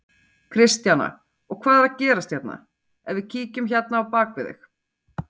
Kristjana: Og hvað er að gerast hérna, ef við kíkjum hérna á bak við þig?